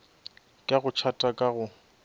ka go tšhata ka go